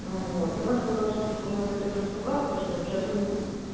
ну вот она сказала что типа может быть он и испугался ли что сейчас он